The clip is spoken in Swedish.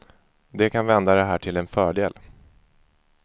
De kan vända det här till en fördel.